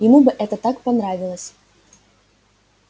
ему бы это так понравилось